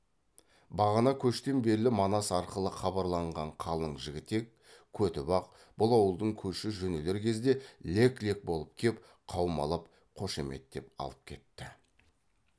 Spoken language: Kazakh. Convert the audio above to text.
бағана кештен берлі манас арқылы хабарланған қалың жігітек көтібақ бұл ауылдың көші жөнелер кезде лек лек болып кеп қаумалап қошеметтеп алып кетті